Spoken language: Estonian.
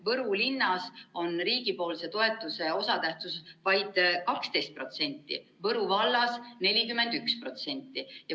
Võru linnas on riigipoolse toetuse osatähtsus vaid 12%, Võru vallas 41%.